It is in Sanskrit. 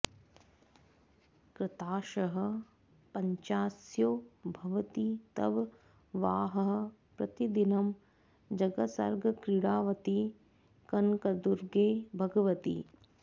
कृताशः पञ्चास्यो भवति तव वाहः प्रतिदिनं जगत्सर्गक्रीडावति कनकदुर्गे भगवति